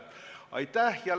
Aitäh!